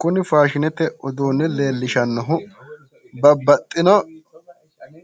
Kuni faashinete uduunni leellishannohu babbaxxino